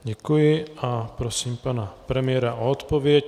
Děkuji a prosím pan premiéra o odpověď.